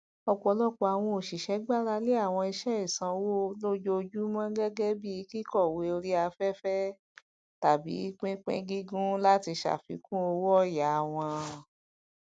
ọpọlọpọ àwọn òṣìṣẹ gbàràlẹ àwọn iṣẹ ìsanwó lójoojúmọ gẹgẹ bí kíkọwé orí aféfé tàbí pínpíngígùn láti ṣàfikún owóọyà wọn